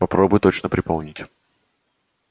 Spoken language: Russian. попробуй точно припомнить